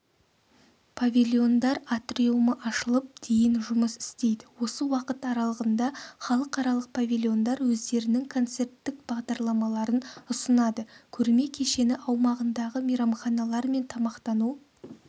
павильондар атриумы ашылып дейін жұмыс істейді осы уақыт аралығында халықаралық павильондар өздерінің концерттік бағдарламаларын ұсынады көрме кешені аумағындағы мейрамханалар мен тамақтану